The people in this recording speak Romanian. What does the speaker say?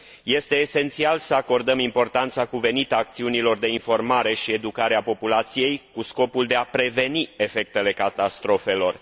Este esențial să acordăm importanța cuvenită acțiunilor de informare și educare a populației în scopul prevenirii efectelor catastrofelor.